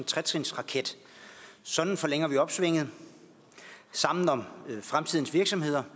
tretrinsraket sådan forlænger vi opsvinget sammen om fremtidens virksomheder